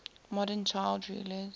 modern child rulers